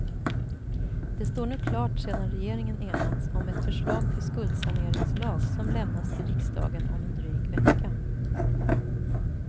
Det står nu klart sedan regeringen enats om ett förslag till skuldsaneringslag som lämnas till riksdagen om en dryg vecka.